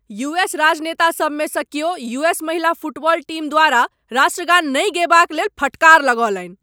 U S राजनेतासब मे स क्यो यू.एस , महिला फुटबॉल टीम द्वारा राष्ट्रगान नहि गयबा क लेल फटकार लगौलनि।